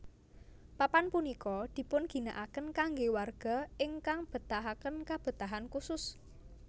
Papan punika dipun ginakaken kangge warga ingkang betahaken kabetahan khusus